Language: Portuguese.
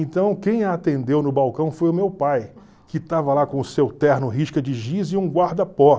Então, quem a atendeu no balcão foi o meu pai, que estava lá com o seu terno, risca de giz e um guarda-pó.